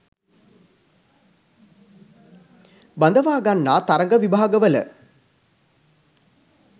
බදවාගන්නා තරග විභාගවල